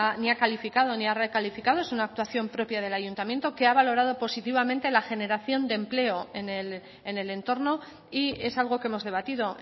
ni ha calificado ni ha recalificado es una actuación propia del ayuntamiento que ha valorado positivamente la generación de empleo en el entorno y es algo que hemos debatido